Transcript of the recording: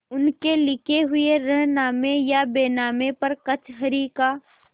उनके लिखे हुए रेहननामे या बैनामे पर कचहरी का